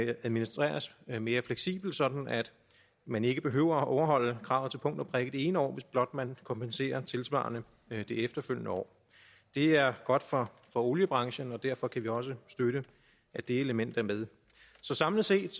administreres mere mere fleksibelt sådan at man ikke behøver at overholde kravet til punkt og prikke det ene år hvis blot man kompenserer tilsvarende det efterfølgende år det er godt for oliebranchen og derfor kan vi også støtte at det element er med så samlet set